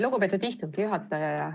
Lugupeetud istungi juhataja!